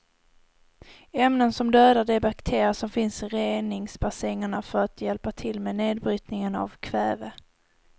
Ämnen som dödar de bakterier som finns i reningsbassängerna för att hjälpa till med nedbrytningen av kväve.